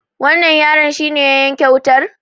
wannan yaron shi ne ya yanke wutar?